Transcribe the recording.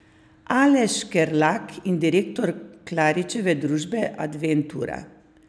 Aleš Škerlak je direktor Klaričeve družbe Adventura.